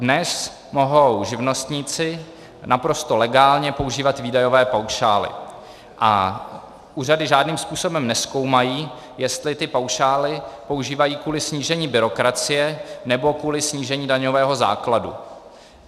Dnes mohou živnostníci naprosto legálně používat výdajové paušály a úřady žádným způsobem nezkoumají, jestli ty paušály používají kvůli snížení byrokracie, nebo kvůli snížení daňového základu.